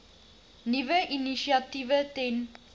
nuwe initiatiewe ten